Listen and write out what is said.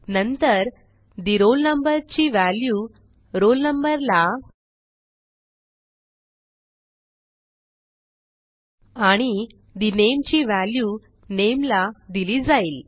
नंतर the roll number ची value roll number ला आणि the name ची व्हॅल्यू नामे ला दिली जाईल